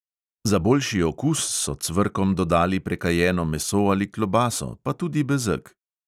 Za boljši okus so cvrkom dodali prekajeno meso ali klobaso, pa tudi bezeg.